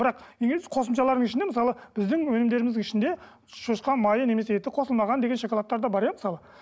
бірақ қосымшалардың ішінен мысалы біздің өнімдеріміздің ішінде шошқа майы немесе қосылмаған деген шоколадтар да бар иә мысалы